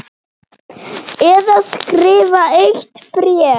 Eða skrifa eitt bréf?